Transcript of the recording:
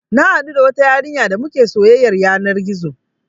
Na haɗu da wata yarinya damuke soyyar yanar gizo